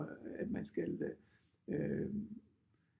At man skal øh